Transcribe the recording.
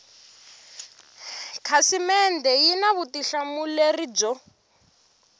khasimende yi na vutihlamuleri byo